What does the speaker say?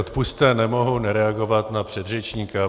Odpusťte, nemohu nereagovat na předřečníka.